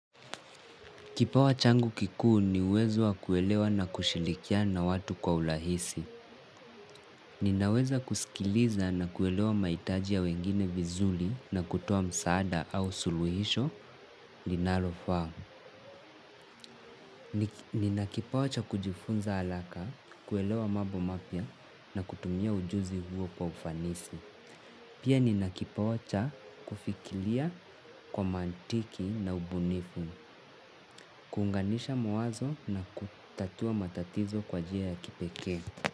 Kipawa changu kikuu, ni uwezo wa kuelewa na kushilikiana na watu kwa ulahisi. Ninaweza kusikiliza na kuelewa mahitaji ya wengine vizuli na kutoa msaada au suluhisho linalofaa. Nina kipawa cha kujifunza alaka, kuelewa mabo mapya na kutumia ujuzi huo kwa ufanisi. Pia nina kipawa cha, kufikiria kwa mantiki na ubunifu. Kuunganisha mawazo na kutatua matatizo kwa njia ya kipekee.